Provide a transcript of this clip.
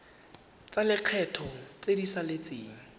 tsa lekgetho tse di saletseng